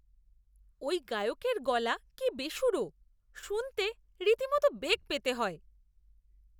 ওই গায়কের গলা কি বেসুরো! শুনতে রীতিমতো বেগ পেতে হয়।